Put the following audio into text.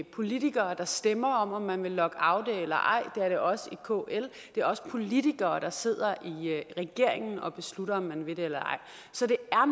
politikere der stemmer om om man vil lockoute eller ej det er det også i kl og det er også politikere der sidder i regeringen og beslutter om man vil det eller ej så det er